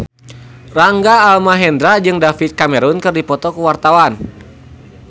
Rangga Almahendra jeung David Cameron keur dipoto ku wartawan